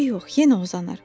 Eybi yox, yenə uzanar.